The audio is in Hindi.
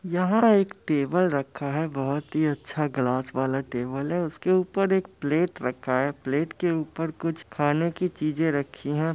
यहाँ एक टेबल रखा है बहोत ही अच्छा ग्लास वाला टेबल है उसके ऊपर एक प्लेट रखा है प्लेट के ऊपर कुछ खाने की चीजे रखी हैं ।